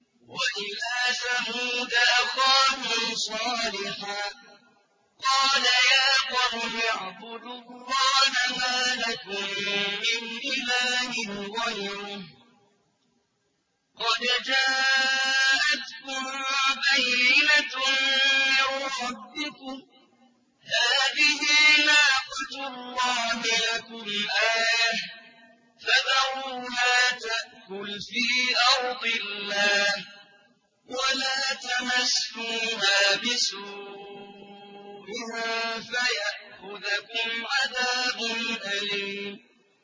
وَإِلَىٰ ثَمُودَ أَخَاهُمْ صَالِحًا ۗ قَالَ يَا قَوْمِ اعْبُدُوا اللَّهَ مَا لَكُم مِّنْ إِلَٰهٍ غَيْرُهُ ۖ قَدْ جَاءَتْكُم بَيِّنَةٌ مِّن رَّبِّكُمْ ۖ هَٰذِهِ نَاقَةُ اللَّهِ لَكُمْ آيَةً ۖ فَذَرُوهَا تَأْكُلْ فِي أَرْضِ اللَّهِ ۖ وَلَا تَمَسُّوهَا بِسُوءٍ فَيَأْخُذَكُمْ عَذَابٌ أَلِيمٌ